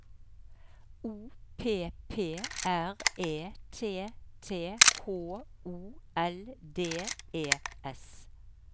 O P P R E T T H O L D E S